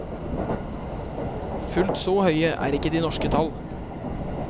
Fullt så høye er ikke de norske tall.